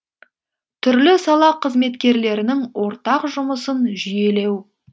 түрлі сала қызметкерлерінің ортақ жұмысын жүйелеу